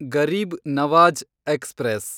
Garib Nawaz express